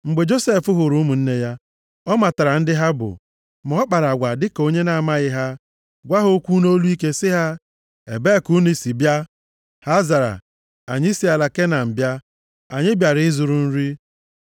Mgbe Josef hụrụ ụmụnne ya, ọ matara ndị ha bụ. Ma ọ kpara agwa dịka onye na-amaghị ha, gwa ha okwu nʼolu ike, sị ha, “Ebee ka unu si bịa?” Ha zara, “Anyị si ala Kenan bịa. Anyị bịara ịzụrụ nri.”